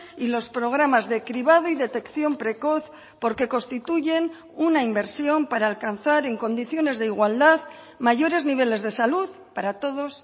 y los programas de cribado y detección precoz porque constituyen una inversión para alcanzar en condiciones de igualdad mayores niveles de salud para todos